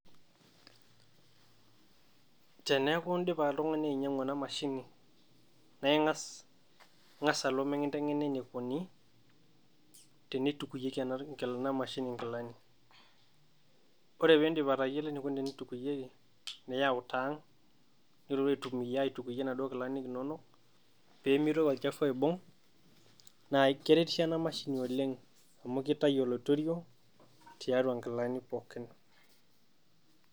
Teneeku idipa oltung'ani ainyiang'u ena mashini naa inga'as oltung'ani alo mikituutakini enekuni teneitukunyieki ena toki mashini inkilani, oree Peidip atayiolo enekuni teneitukunyieki niyau taa ang' nilotu aitukuyie inaduo kilani Inono peemeitoki olchafu aibung' naa keretisho ena mashini oleng' amu keitayu oloirerio tiatua ingilani pookin.